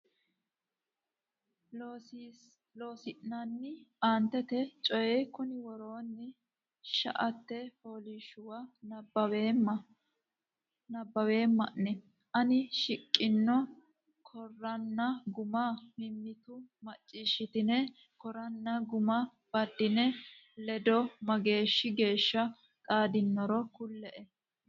Loossinanni aantete coy konni woroonni shaete fooliishshuwa nabbaweema o nenna aana shiqino koranna guma mimmitu macciishshitine koranna guma baddine ledo mageeshshi geeshsha xaadannoro kulle e.